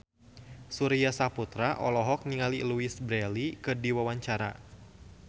Surya Saputra olohok ningali Louise Brealey keur diwawancara